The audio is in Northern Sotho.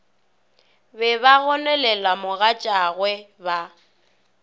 be ba gononela mogatšagwe ba